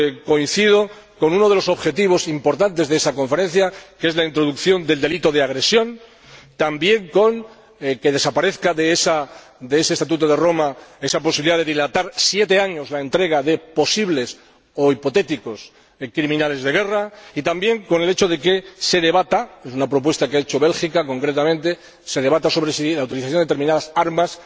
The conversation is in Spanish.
Coincido con uno de los objetivos importantes de esa Conferencia, que es la introducción del delito de agresión, también con que desaparezca del Estatuto de Roma la posibilidad de dilatar siete años la entrega de posibles o hipotéticos criminales de guerra y también con el hecho de que se debata —es una propuesta que ha hecho Bélgica concretamente-si la utilización de determinadas armas